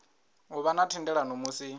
u vha na thendelano musi